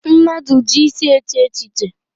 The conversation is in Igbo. Mmadụ ji isi eche echiche.